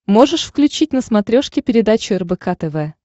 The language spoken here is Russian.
можешь включить на смотрешке передачу рбк тв